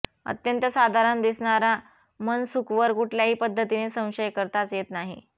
अत्यंत साधारण दिसणारा मनसुखवर कुठल्याही पद्धतीने संशय करताच येत नाही